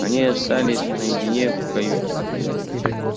они остались наедине в каюте